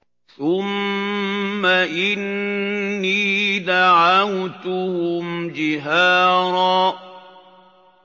ثُمَّ إِنِّي دَعَوْتُهُمْ جِهَارًا